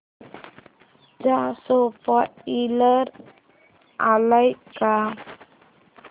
चा स्पोईलर आलाय का